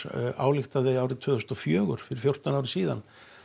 ályktaði árs tvö þúsund og fjögur fyrir fjórtán árum síðan